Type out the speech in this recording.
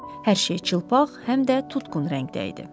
Hər şey çılpaq, həm də tutqun rəngdə idi.